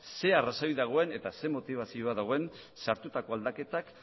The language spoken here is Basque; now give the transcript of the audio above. zer arrazoi dagoen eta zein motibazioa dagoen sartutako aldaketak